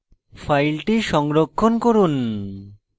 file সংরক্ষণ করুন